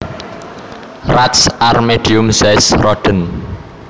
Rats are medium sized rodents